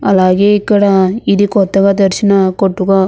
అలాగే ఇక్కడ ఇది కొత్తగా తెరిచిన కొట్టుల --